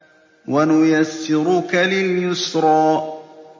وَنُيَسِّرُكَ لِلْيُسْرَىٰ